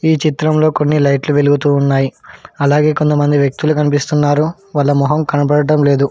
ఈ చిత్రంలో కొన్ని లైట్లు వెలుగుతూ ఉన్నాయి అలాగే కొంతమంది వ్యక్తులు కనిపిస్తున్నారు వాళ్ళ మొహం కనబడటం లేదు.